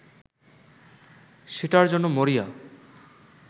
সেটার জন্য মরিয়া